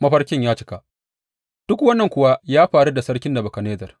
Mafarkin Ya Cika Duk wannan kuwa ya faru da sarki Nebukadnezzar.